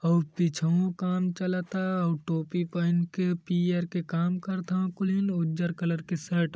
और पीछहूँ काम चलता अ टोपी पहिन के पीअर के काम करथव कुलीन और उजर कलर के शर्ट --